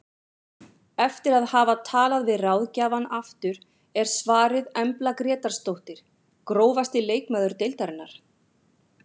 Eftir að hafa talað við ráðgjafann aftur er svarið Embla Grétarsdóttir Grófasti leikmaður deildarinnar?